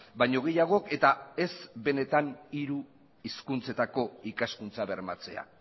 baino gehiagok eta ez benetan hiru hizkuntzetako ikaskuntza bermatzea